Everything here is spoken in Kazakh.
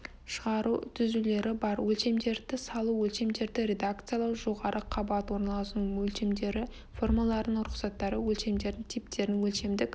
шығару түзулері бар өлшемдерді салу өлшемдерді редакциялау жоғары қабат орналасуының өлшемдері формаларының рұқсаттары өлшемдер типтерін өлшемдік